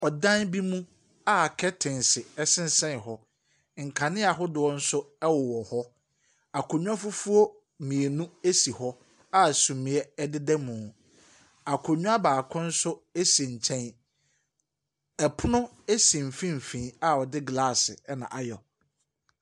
Ɔdan bi mu a kɛntense sensɛn hɔ. Nkanea ahodoɔ no nso wɔwɔ hɔ. Akonnwa fufuo mmienu esi hɔ a sumiiɛ deda mu. Akonnwa baako nso si nkyɛn. Ɛpono esi mfimfin a wɔde glaase na ayɛ.